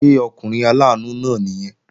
Ṣé ọkùnrin aláàánú náà nìyẹn?